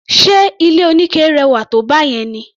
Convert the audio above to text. Ṣe ilé oníke rẹwà tó báyẹn ni?